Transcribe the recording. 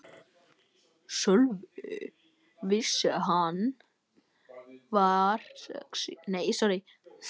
Sölvi vissi alveg hvar ég bjó.